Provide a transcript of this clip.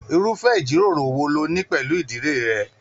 Irufẹ ijiroro wò ló ní pẹlú ìdílé rẹ?